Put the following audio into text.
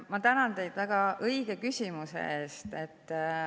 Ma tänan teid väga õige küsimuse eest.